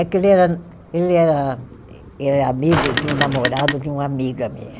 É que ele era, ele era, ele era amigo de um namorado de uma amiga minha.